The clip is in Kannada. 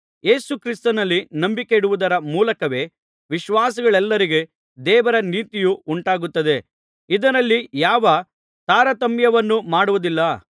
ಯೇಸು ಕ್ರಿಸ್ತನಲ್ಲಿ ನಂಬಿಕೆಯಿಡುವುದರ ಮೂಲಕವೇ ವಿಶ್ವಾಸಿಗಳೆಲ್ಲರಿಗೆ ದೇವರ ನೀತಿಯು ಉಂಟಾಗುತ್ತದೆ ಇದರಲ್ಲಿ ಯಾವ ತಾರತಮ್ಯವನ್ನು ಮಾಡುವುದಿಲ್ಲ